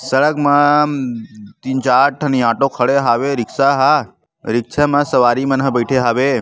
सड़क मा तीन चार ठन ऑटो खड़े हवे रिक्शा हा रिक्शा मा सवारी मन हा बैठे हावे।